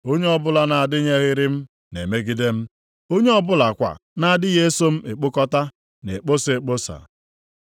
“Onye ọbụla na-adịnyeghịrị m na-emegide m. Onye ọ bụlakwa na-adịghị eso m ekpokọta, na-ekposa ekposa.